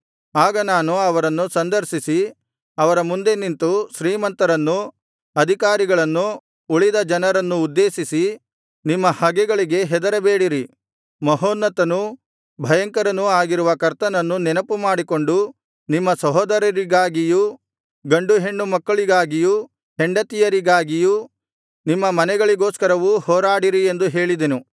ಆಗ ನಾನು ಅವರನ್ನು ಸಂದರ್ಶಿಸಿ ಅವರ ಮುಂದೆ ನಿಂತು ಶ್ರೀಮಂತರನ್ನೂ ಅಧಿಕಾರಿಗಳನ್ನೂ ಉಳಿದ ಜನರನ್ನೂ ಉದ್ದೇಶಿಸಿ ನಿಮ್ಮ ಹಗೆಗಳಿಗೆ ಹೆದರಬೇಡಿರಿ ಮಹೋನ್ನತನೂ ಭಯಂಕರನೂ ಆಗಿರುವ ಕರ್ತನನ್ನು ನೆನಪುಮಾಡಿಕೊಂಡು ನಿಮ್ಮ ಸಹೋದರರಿಗಾಗಿಯೂ ಗಂಡು ಹೆಣ್ಣು ಮಕ್ಕಳಿಗಾಗಿಯೂ ಹೆಂಡತಿಯರಿಗಾಗಿಯೂ ನಿಮ್ಮ ಮನೆಗಳಿಗೋಸ್ಕರವೂ ಹೋರಾಡಿರಿ ಎಂದು ಹೇಳಿದೆನು